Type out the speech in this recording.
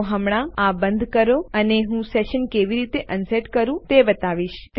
તો હમણાં તમે આ બંધ કરી શકો છો અને હું સેશન કેવી રીતે અનસેટ કરવું તે બતાવીશ